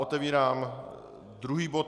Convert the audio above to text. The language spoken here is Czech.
Otevírám druhý bod